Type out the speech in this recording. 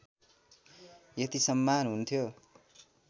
यति सम्मान हुन्थ्यो